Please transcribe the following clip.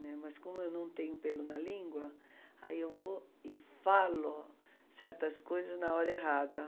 Né, mas como eu não tenho pelo na língua, aí eu vou e falo certas coisas na hora errada.